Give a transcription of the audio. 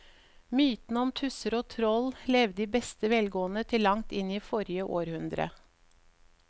Mytene om tusser og troll levde i beste velgående til langt inn i forrige århundre.